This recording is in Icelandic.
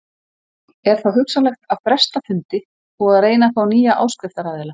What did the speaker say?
Er þá hugsanlegt að fresta fundi og að reyna að fá nýja áskriftaraðila.